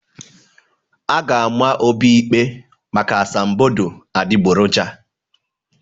A ga-ama Obi ikpe maka asambodo adịgboroja.